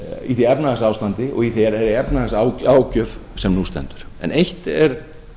í því efnahagsástandi og þeirri efnahagságjöf sem nú stendur en eitt er